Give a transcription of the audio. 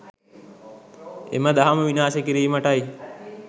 එම දහම විනාශ කිරීමටයි.